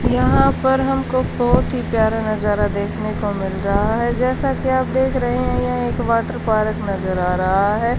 यहा पर हमको बहुत ही प्यारा नजारा देखने को मिल रहा है जैसा कि आप देख रहे हैं यहाँ एक वाटर पार्क नजर आ रहा है।